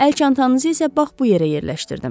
Əl çantanızı isə bax bu yerə yerləşdirdim.